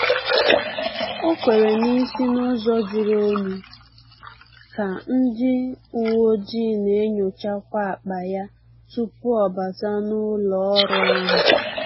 Ọ kwere n'isi n’ụzọ juru onyi ka ndị uweojii na-enyochakwa akpa ya tupu ọ bata n’ụlọ ọrụ ahụ